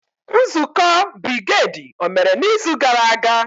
Nzukọ brigedi omere n'izu gara aga?